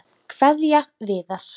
Kveðja Viðar.